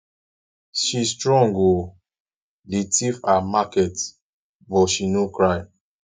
she strong oo dey thief her market but she no cry